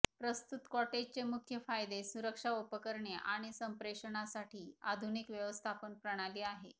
प्रस्तुत कॉटेजचे मुख्य फायदे सुरक्षा उपकरणे आणि संप्रेषणांसाठी आधुनिक व्यवस्थापन प्रणाली आहे